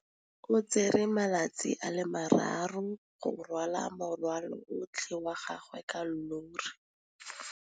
O tsere malatsi a le marraro go rwala morwalo otlhe wa gagwe ka llori.